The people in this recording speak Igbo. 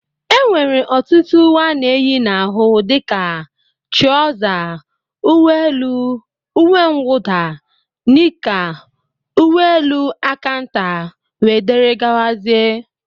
E nwere ọtụtụ ùwé ana eyi n'ahụ dịka: trauza, ùwé élú, ùwé mwuda, nika, ùwé élú aka ntà wdg.